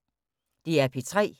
DR P3